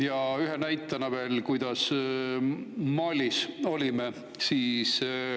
Ja ühe näitena veel, kuidas me Malis olime.